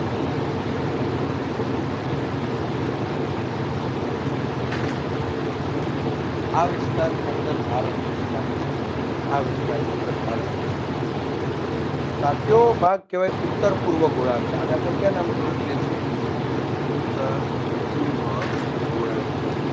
આ વિસ્તારની અંદર ભારતનું સ્થાન છે. આ વિસ્તારની અંદર ભારતનું સ્થાન છે તો આ કેવો ભારત કેવાય ઉત્તર પૂર્વ ગોળાર્ધ આને આપણે કયા નામથી ઓળખીએ છીએ ઉત્તર પૂર્વ ગોળાર્ધ